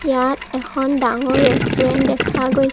ইয়াত এখন ডাঙৰ ৰেষ্টুৰেন্ট দেখা গৈছ--